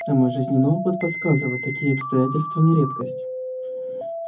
а мой жизненный опыт подсказывает такие обстоятельства не редкость